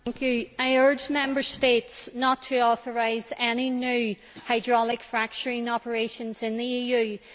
Mr President, I urge Member States not to authorise any new hydraulic fracturing operations in the EU.